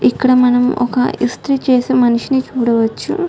ఇక్కడ మనం ఒక ఇస్త్రీ చేసే మనిషిని చూడవచ్చు .